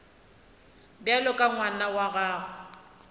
bjalo ka ngwana wa gago